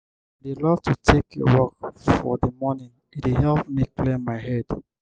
i dey love to take a walk for di morning e dey help me clear my head.